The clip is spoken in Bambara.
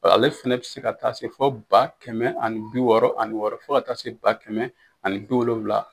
Ale fɛnɛ be se ka taa se fɔ ba kɛmɛ ani bi wɔɔrɔ ani wɔɔrɔ, fo ka taa se ba kɛmɛ ani bi wolonwula